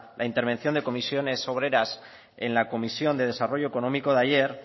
la intervención de comisiones obreras en la comisión de desarrollo económico de ayer